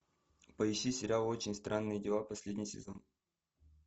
поищи сериал очень странные дела последний сезон